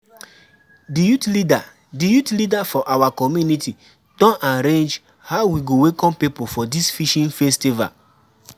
di youth leader di youth leader for our community don arrange how we go welcome people for dis fishing festival.